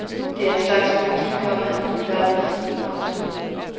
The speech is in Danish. Det er en slags melodi, komma der er i luften. punktum